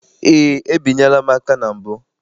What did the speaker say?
Eé, ebinyela m aka na mbụ.